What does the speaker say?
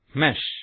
mesh